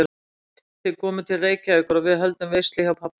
Ég veit, þið komið til Reykjavíkur og við höldum veislu hjá pabba og mömmu